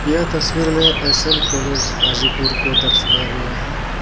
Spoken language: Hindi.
यह तस्वीर में एस एम कॉलेज हाजीपुर को दर्शाया गया है.